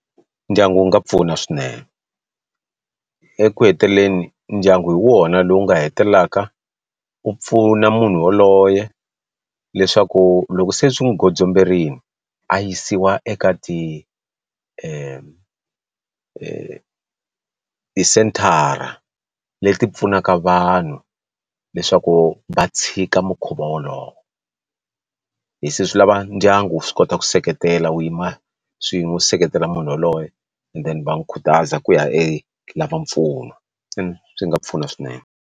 Ndyangu wu nga pfuna swinene eku heteleleni ndyangu hi wona lowu nga hetelelaka u pfuna munhu yoloye leswaku loko se swi n'wi gondzomberile a yisiwa eka ti senthara leti pfunaka vanhu leswaku va tshika mukhuva wolowo hi se swi lava ndyangu swi kota ku seketela wu yima swin'we seketela munhu yaloye and then va n'wi khutaza ku ya lava mpfuno ende swi nga pfuna swinene.